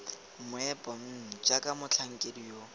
meepo mmm jaaka motlhankedi yo